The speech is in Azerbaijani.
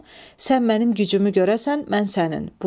Sən mənim gücümü görəsən, mən sənin.